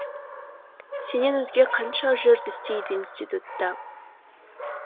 сенен өзге қанша жұрт істейді институтта